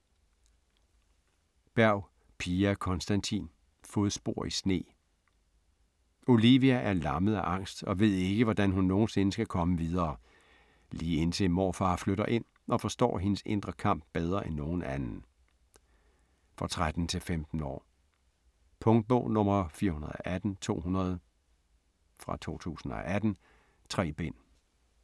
Berg, Pia Konstantin: Fodspor i sne Olivia er lammet af angst og ved ikke, hvordan hun nogensinde skal komme videre, lige indtil morfar flytter ind og forstår hendes indre kamp bedre end nogen anden. For 13-15 år. Punktbog 418200 2018. 3 bind.